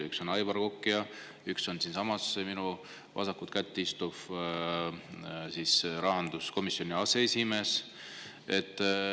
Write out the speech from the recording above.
Üks on Aivar Kokk ja üks on siinsamas minu vasakul käel istuv rahanduskomisjoni aseesimees.